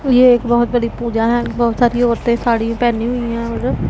ये एक बहोत बड़ी पूजा है बहोत सारी औरतें साड़ी पहनी हुई है और--